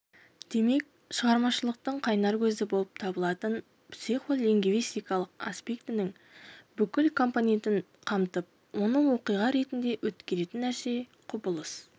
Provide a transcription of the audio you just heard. демек шығармашылықтың қайнар көзі болып табылатын психо-лингвистикалық аспектінің бүкіл компонентін қамтып оны оқиға ретінде өткеретін нәрсе құбылыс